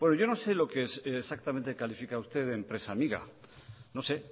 yo no sé lo que exactamente califica usted de empresa amiga no sé